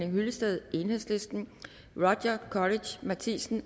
hyllested roger courage matthisen